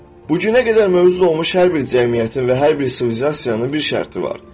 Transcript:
Bu günə qədər mövcud olmuş hər bir cəmiyyətin və hər bir sivilizasiyanın bir şərti var.